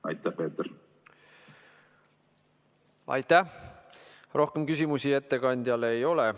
Aitäh, rohkem küsimusi ettekandjale ei ole.